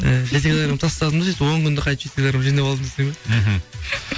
ііі жеті килогармм тастадым да сөйтіп он күнде қайтіп жеті килограм жинап алдым десем иә мхм